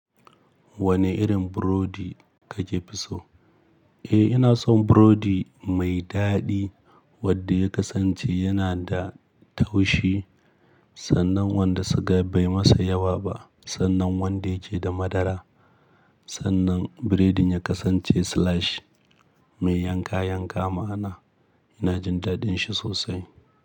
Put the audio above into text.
Wane irin burodi kake fi so? Eh, ina son burodi mai daɗi wanda ya kasance yana da taushi, sannan wanda suga bai masa yawa ba, sannan wanda yake da madara. Sannan buredin ya kasance slash mai yanka-yanka ma ana. Ina jin daɗin shi sosai.